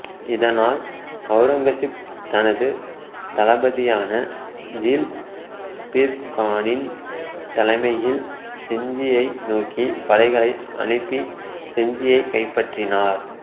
இதனால் ஔரங்கசீப் தனது தளபதியான ஜுல்பிர்கானின் தலைமையில் செஞ்சியை நோக்கி படைகளை அனுப்பி செஞ்சியைக் கைப்பற்றினார்